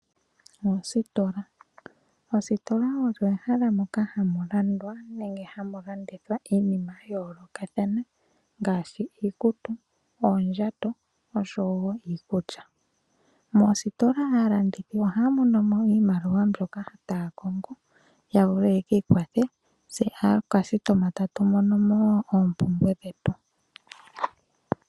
Ositola, ositola olyo ehala moka hakulandwa nenge hamulandithwa iinima ya yoloka thana ngashi , iikutu, oondjato osho wo iikulya, mositola alandithi oha monomo iimaliwa mbyoka tayakongo yavule yekikwathe tse alandi tatumono mo wo opumbwe dhetu.